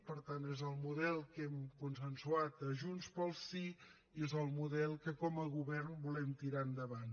per tant és el model que hem consensuat a junts pel sí i és el model que com a govern volem tirar endavant